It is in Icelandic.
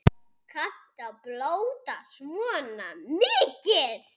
Kanntu að blóta svona mikið?